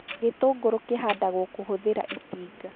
Gĩtũngũrũ kĩhandagwo kũhũthĩra itinga